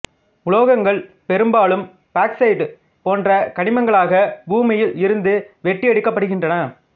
உலோகங்கள் பெரும்பாலும் பாக்சைட்டு போன்ற கனிமங்களாக பூமியில் இருந்து வெட்டியெடுக்கப்படுகின்றன